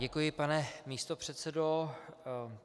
Děkuji, pane místopředsedo.